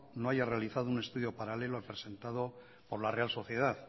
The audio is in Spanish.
no haya realizado un estudio paralelo al presentado por la real sociedad